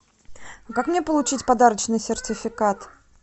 как мне получить подарочный сертификат